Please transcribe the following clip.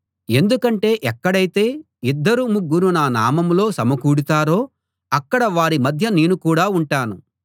ఎందుకంటే ఎక్కడైతే ఇద్దరు ముగ్గురు నా నామంలో సమకూడతారో అక్కడ వారి మధ్య నేను కూడా ఉంటాను